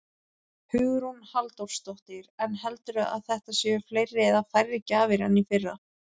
Hugrún Halldórsdóttir: En heldurðu að þetta séu fleiri eða færri gjafir en í fyrra?